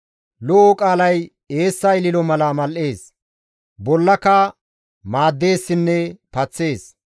Lo7o qaalay eessa ililo mala mal7ees; bollaka maaddeessinne paththees.